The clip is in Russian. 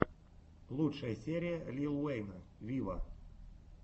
лучшая серия лил уэйна виво